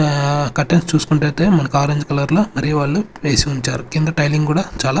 ఆహ్ కర్టెన్స్ చూసుకుంటేతే మనకు ఆరెంజ్ కలర్లో మరియు వాళ్ళు వేసి ఉంచారు కింద టైలింగ్ కూడా చాలా--